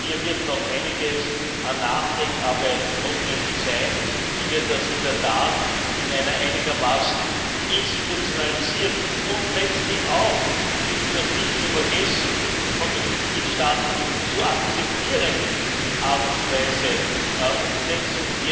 Hier wird noch einiges an Nachdenkarbeit notwendig sein, wie wir das in der Tat in einer einigermaßen institutionalisierten und letztlich auch ich bitte, das nicht zu vergessen von den Mitgliedstaaten zu akzeptierenden Art und Weise umsetzen.